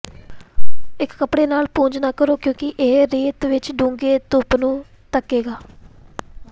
ਇੱਕ ਕੱਪੜੇ ਨਾਲ ਪੂੰਝ ਨਾ ਕਰੋ ਕਿਉਂਕਿ ਇਹ ਰੇਤ ਵਿੱਚ ਡੂੰਘੇ ਧੁੱਪ ਨੂੰ ਧੱਕੇਗਾ